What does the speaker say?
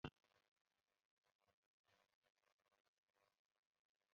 Chọọchị bụ ebe ndị nke Kraịstị na-ekpe okpukpe.